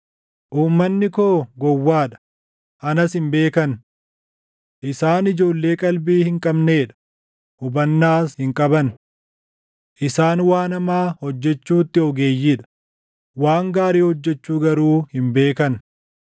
“Uummanni koo gowwaa dha; anas hin beekan. Isaan ijoollee qalbii hin qabnee dha; hubannaas hin qaban. Isaan waan hamaa hojjechuutti ogeeyyii dha; waan gaarii hojjechuu garuu hin beekan.”